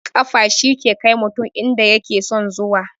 Kafa shi ke kai mutum inda yake son zuwa